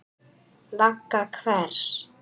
Vagga hvers?